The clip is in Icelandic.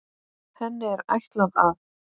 Henni er ætlað að